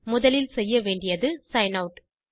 முதலில் செய்ய வேண்டியது சிக்ன் ஆட்